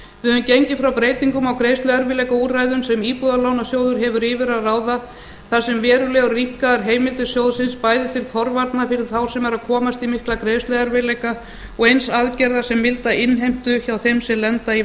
við höfum gengið frá breytingum á greiðsluerfiðleikaúrræðum sem íbúðalánasjóður hefur yfir að ráða þar sem verulega rýmkaðar heimildir sjóðsins bæði til forvarna fyrir þá sem eru að komast í mikla greiðsluerfiðleika og eins aðgerða sem mynda innheimtu hjá þeim sem lenda í